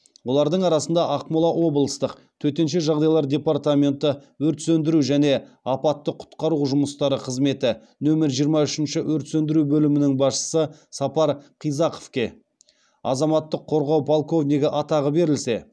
олардың арасында ақмола облыстық төтенше жағдайлар департаменті өрт сөндіру және апатты құтқару жұмыстары қызметі нөмір жиырма үшінші өрт сөндіру бөлімінің басшысы сапар қизақовке азаматтық қорғау полковнигі атағы берілсе